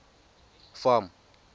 farm